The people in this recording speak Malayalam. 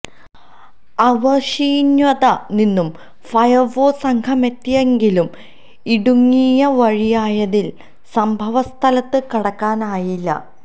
ആവണീശ്വത്ത് നിന്നും ഫയര്ഫോഴ്സ് സംഘമെത്തിയെങ്കിലും ഇടുങ്ങിയ വഴിയായതിനാല് സംഭവ സ്ഥലത്ത് കടക്കാനായില്ല